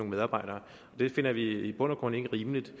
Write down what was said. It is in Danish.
medarbejdere og det finder vi i bund og grund ikke rimeligt